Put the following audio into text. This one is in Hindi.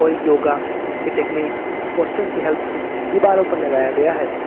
और योगा की टेक्निक पोस्टर की हेल्प से दीवारों पर लगाया गया है।